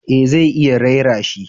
Eh zai iya raira shi